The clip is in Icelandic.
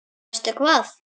Og veistu hvað?